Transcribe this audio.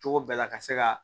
Cogo bɛɛ la ka se ka